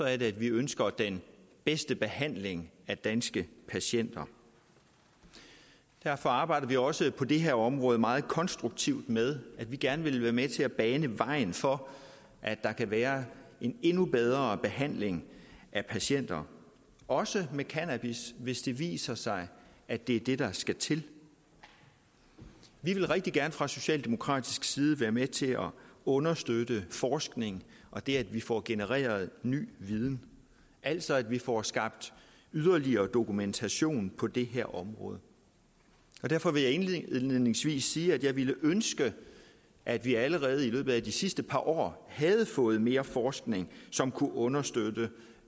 er at vi ønsker den bedste behandling af danske patienter derfor arbejder vi også på det her område meget konstruktivt med at vi gerne vil være med til at bane vejen for at der kan være en endnu bedre behandling af patienter også med cannabis hvis det viser sig at det er det der skal til vi vil rigtig gerne fra socialdemokratisk side være med til at understøtte forskning og det at vi får genereret ny viden altså at vi får skabt yderligere dokumentation på det her område derfor vil jeg indledningsvis sige at jeg ville ønske at vi allerede i løbet af de sidste par år havde fået mere forskning som kunne understøtte